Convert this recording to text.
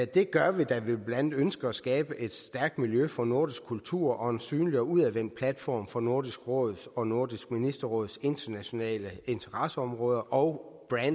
det gør vi da vi blandt andet ønsker at skabe et stærkt miljø for nordisk kultur og en synlig og udadvendt platform for nordisk råds og nordisk ministerråds internationale interesseområder og